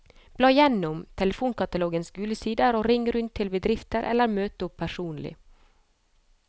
Bla igjennom telefonkatalogens gule sider, og ring rundt til bedrifter eller møt opp personlig.